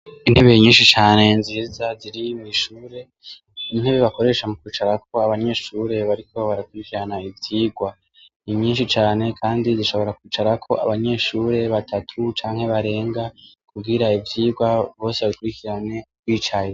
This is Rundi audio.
Intebe ye nyinshi cane nziza ziri mw'ishure intebe bakoresha mu kwicarako abanyeshure bariko baratwikirana ivyirwa ni nyinshi cane, kandi zishobora kwicarako abanyeshure batatu canke barenga kubwira ivyirwa bose baikurikirane kwicayea.